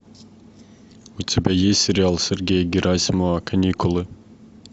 у тебя есть сериал сергея герасимова каникулы